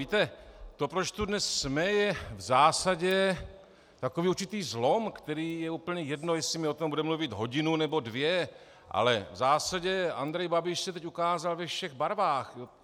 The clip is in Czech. Víte, to, proč tu dnes jsme, je v zásadě takový určitý zlom, který - je úplně jedno, jestli my o tom budeme mluvit hodinu, nebo dvě, ale v zásadě Andrej Babiš se teď ukázal ve všech barvách.